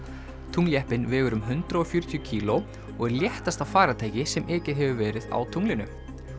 tungljeppinn vegur um hundrað og fjörutíu kíló og er léttasta farartæki sem ekið hefur verið á tunglinu